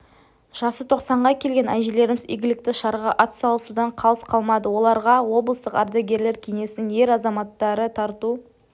жасы тоқсанға келген әжелеріміз игілікті шараға атсалысудан қалыс қалмады оларға облыстық ардагерлер кеңесінің ер азаматтары тарту